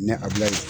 Ne abilayan